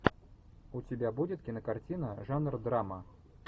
у тебя будет кинокартина жанр драма